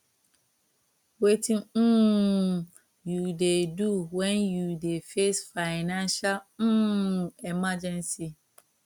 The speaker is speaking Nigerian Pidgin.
wetin um you dey do when you dey face financial um emergency